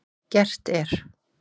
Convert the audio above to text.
Gert er